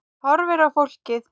Horfir á fólkið.